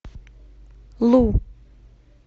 лу